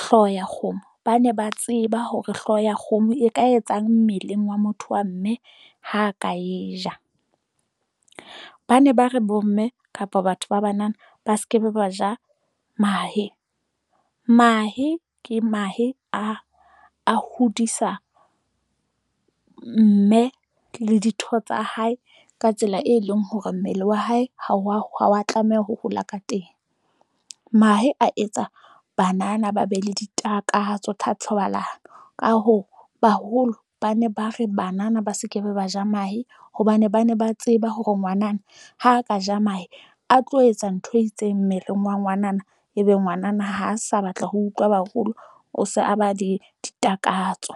hlooho ya kgomo. Ba ne ba tseba hore hlooho ya kgomo e ka etsang mmeleng wa motho wa mme ha ka e ja. Ba ne ba re bomme kapa batho ba banana ba skebe ba ja mahe. Mahe ke mahe a a hodisa mme le ditho tsa hae ka tsela e leng hore mmele wa hae ha wa ha wa tlameha ho hola ka teng. Mahe a etsa banana ba be le ditakatso tsa thobalano. Ka hoo, baholo ba ne ba re banana ba se ke be ba ja mahe, hobane ba ne ba tseba ya hore ngwanana ha ka ja mahe, a tlo etsa ntho e itseng mmeleng wa ngwanana. Ebe ngwanana ha sa batla ho utlwa baholo o se a ba le ditakatso.